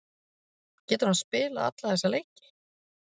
Getur hann spilað alla þessa leiki?